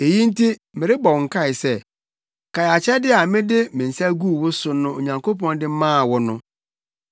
Eyi nti merebɔ wo nkae sɛ, kae akyɛde a bere a mede me nsa guu wo so no Onyankopɔn de maa wo no.